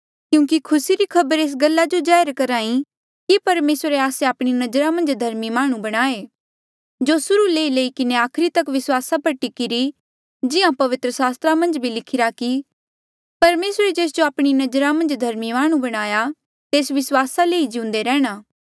क्यूंकि खुसी री खबरा एस गल्ला जो जाहिर करी कि परमेसरे आस्से आपणी नजरा मन्झ धर्मी माह्णुं बणाये जो सुर्हू ले लेई किन्हें आखरी तक विस्वासा पर टिकीरी जिहां पवित्र सास्त्रा मन्झ भी लिखिरा कि परमेसरे जेस जो आपणी नजरा मन्झ धर्मी माह्णुं बणाया तेस विस्वासा ले ही जिउंदे रैंह्णां